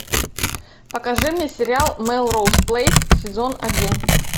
покажи мне сериал мелроуз плэйс сезон один